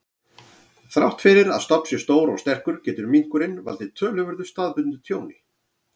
Þrátt fyrir að stofn sé stór og sterkur, getur minkurinn valdið töluverðu staðbundnu tjóni.